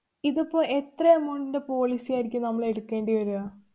ഇത് ഇപ്പൊ എത്ര amount ന്‍റെ policy ആയിരിക്കും നമ്മളെടുക്കേണ്ടി വര്യ?